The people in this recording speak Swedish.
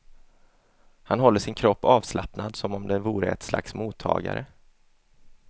Han håller sin kropp avslappnad som om den vore ett slags mottagare.